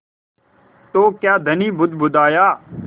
तो क्या धनी बुदबुदाया